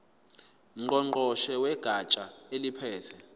ngqongqoshe wegatsha eliphethe